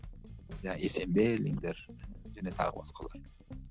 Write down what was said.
есенберлиндер және тағы басқалар